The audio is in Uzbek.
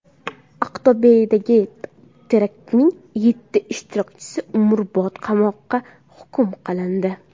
Aqto‘bedagi teraktning yetti ishtirokchisi umrbod qamoqqa hukm qilindi.